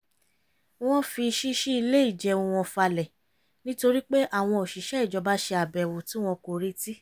wọ́n fi ṣíṣí ilé ìjẹun wọn falẹ̀ nítorí pé àwọn òṣìṣẹ́ ìjọba ṣe àbèwò tí wọn kò retí